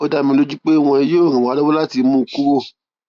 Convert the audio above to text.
ó dá mi lójú pé wọn yóò ràn wá lọwọ láti mú un kúrò